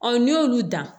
n'i y'olu dan